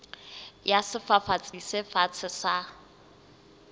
ya sefafatsi se fatshe sa